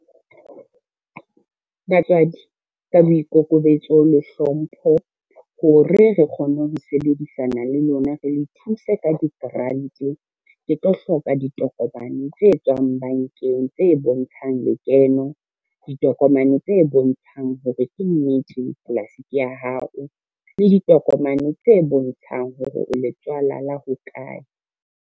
Batswadi, ka boikokobetso le hlompho hore re kgone ho sebedisana le lona, re thuse ka di-grant. Ke tlo hloka ditokomane tse e tswang bankeng tse bontshang lekeno, ditokomane tse bontshang hore ke nnete polasi ke ya hao le ditokomane tse bontshang hore o le tswala la hokae.